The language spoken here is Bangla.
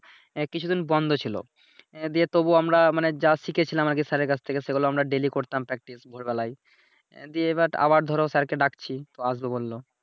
এহ কিছুদিন বন্ধ ছিলো । এহ দিয়ে তবুও আমরা কিছুদিন যা শিখেছিলাম